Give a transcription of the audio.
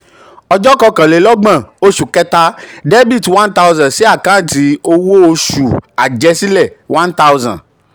ọjọ́ kọkànlélọ́gbọ̀n oṣù kẹtà: debit one thousand sí àkáǹtì owó oṣù àjẹsílẹ̀ one thousand